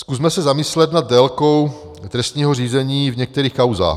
Zkusme se zamyslet nad délkou trestního řízení v některých kauzách.